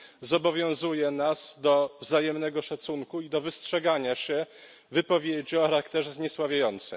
zobowiązuje nas do wzajemnego szacunku i do wystrzegania się wypowiedzi o charakterze zniesławiającym.